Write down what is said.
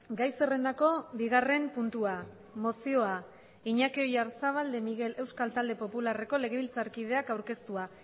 gai zerrendako bigarren puntua mozioa iñaki oyarzabal de miguel euskal talde popularreko legebiltzarkidea aurkeztua